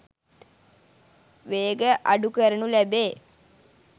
වේගය අඩු කරූණු ලැබේ